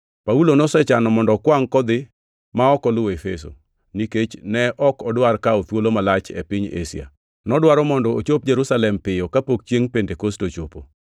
Paulo nosechano mondo okwangʼ kodhi ma ok oluwo Efeso, nikech ne ok odwar kawo thuolo malach e piny Asia. Nodwaro mondo ochop Jerusalem piyo, kapok chiengʼ Pentekost ochopo.